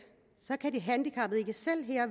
så kan de handicappede ikke selv